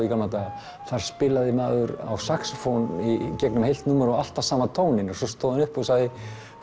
í gamla daga þar spilaði maður á saxófón í gegnum heilt númer og alltaf sama tóninn og svo stóð hann upp og sagði